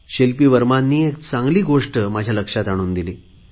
शिल्पी वर्मा यांनी एक चांगली गोष्ट माझ्या लक्षात आणून दिली